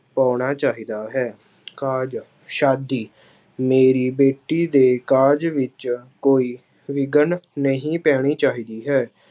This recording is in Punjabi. ਪਾਉਣਾ ਚਾਹੀਦਾ ਹੈ ਕਾਜ਼ ਸ਼ਾਦੀ ਮੇਰੀ ਬੇਟੀ ਦੇ ਕਾਜ਼ ਵਿੱਚ ਕੋਈ ਵਿਘਨ ਨਹੀਂ ਪੈਣੀ ਚਾਹੀਦੀ ਹੈ।